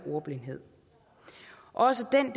også en